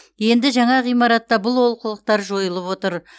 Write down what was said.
енді жаңа ғимаратта бұл олқылықтар жойылып отыр